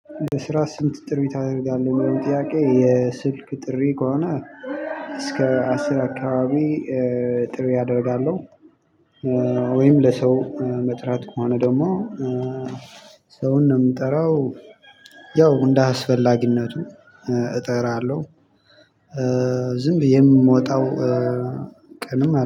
በስራ ስንት? ጥሪ ታደርጋለህ የሚለው ጥያቄ የስልክ ጥሪ ከሆነ እስከ አስር አካባቢ ጥሪ አደርጋለሁ። ወይም ለሰው መጥራት ከሆነ ደግሞ ሰውን የምጠራው ያው እንደ አስፈላጊነቱ እጠራለሁ። ዝም ብዬ የምወጣው ቀንም